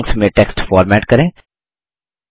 drawings में text format करें